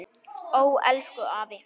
Ó, elsku afi.